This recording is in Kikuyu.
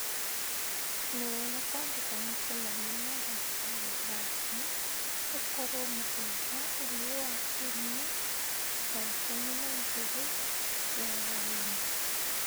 Nĩ wega kwandĩka mũcemanio na ndagĩtarĩ Branden ũkorũo mũthenya ũyũ wa Kiumia thaa ikũmi na igĩrĩ cia hwaĩ-inĩ